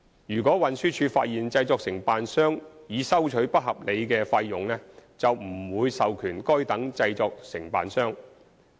如運輸署發現製作承辦商擬收取不合理的費用，便不會授權該等製作承辦商。